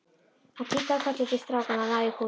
Hann kinkaði kolli til strákanna og náði í kúluna.